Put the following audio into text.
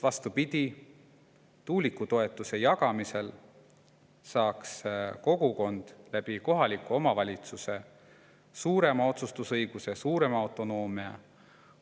Vastupidi, tuuliku jagamisel saaks kogukond kohaliku omavalitsuse kaudu suurema otsustusõiguse, suurema autonoomia.